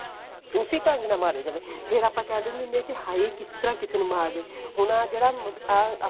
ਉਸੀ ਢੰਗ ਨਾਲ ਮਾਰਿਆ ਜਾਵੇ ਫ਼ੇਰ ਆਪਾਂ ਕਿਹ ਦਿੰਦੇ ਹਾਂ ਕਿ ਹਾਏ ਕਿਸ ਤਰ੍ਹਾਂ ਕਿਸੇ ਨੂੰ ਮਾਰ ਦੇ ਹੁਣ ਆਹ ਜਿਹੜਾ ਆਹ